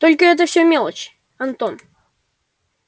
только это все мелочи антон